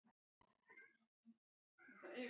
Daníel getur átt við